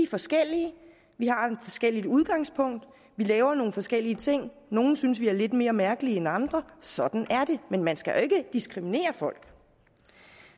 forskellige vi har forskelligt udgangspunkt vi laver nogle forskellige ting og nogle synes vi er lidt mere mærkelige end andre sådan er det men man skal jo ikke diskriminere folk